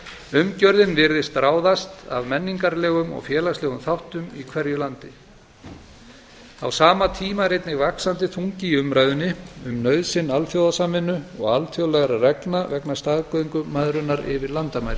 umgjörðin virðist ráðast af menningarlegum og félagslegum þáttum í hverju landi á sama tíma er einnig vaxandi þungi í umræðunni um nauðsyn alþjóðasamvinnu og alþjóðlegra reglna vegna staðgöngumæðrunar yfir landamæri